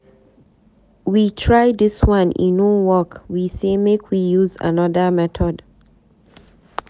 We try dis one e no work, we say make we use another method.